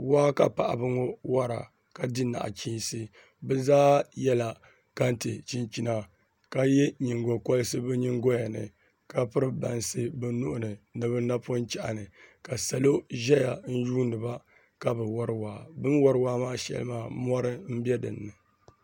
Waa ka paɣaba ŋɔ wɔra ka di nachiinsi bi zaa yɛla kɛntɛ chinchina ka yɛ nyingokoriti bi nyingɔya ni ka piri bansi bi nuhini ni bi napɔŋ chɛhi ni ka salo ʒɛya n yuundiba ka bi wori waa bi ni wori waa maa shɛli maa mɔri n bɛ dinni